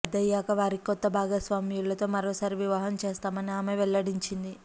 పెద్దయ్యాక వారికి కొత్త భాగస్వాములతో మరోసారి వివాహం చేస్తామని ఆమె వెల్లడించింది